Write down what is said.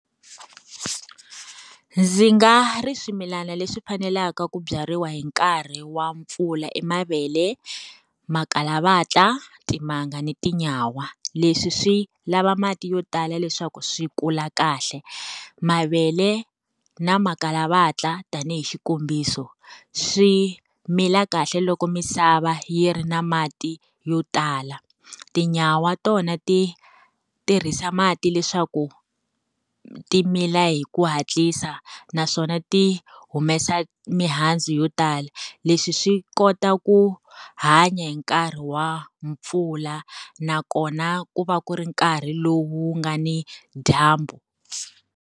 Ndzi nga ri swimilana leswi faneleke ku byariwa hi nkarhi wa mpfula i mavele, makhalavatla, timanga ni tinyawa. Leswi swi lava mati yo tala leswaku swi kula kahle. Mavele na makhalavatla tanihi xikombiso, swi mila kahle loko misava yi ri na mati yo tala. Tinyawa tona ti tirhisa mati leswaku ti mila hi ku hatlisa naswona ti humesa mihandzu yo tala. Leswi swi kota ku hanya hi nkarhi wa mpfula nakona ku va ku ri nkarhi lowu nga ni dyambu.